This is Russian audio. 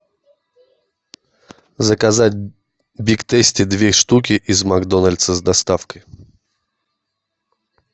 заказать биг тейсти две штуки из макдональдса с доставкой